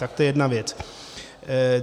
Tak to je jedna věc.